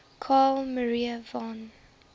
carl maria von